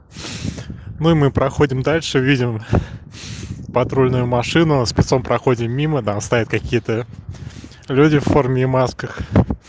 мы мы проходим дальше видим патрульную машину спецом проходим мимо там стоят какие-то люди в форме и масках